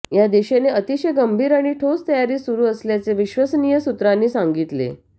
या दिशेने अतिशय गंभीर आणि ठोस तयारी सुरू असल्याचे विश्वसनीय सूत्रांनी सांगितले